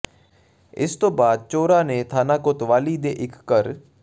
ਇਸ ਤੋਂ ਬਾਅਦ ਚੋਰਾਂ ਨੇ ਥਾਣਾ ਕੋਤਵਾਲੀ ਦੇ ਇੱਕ ਘਰ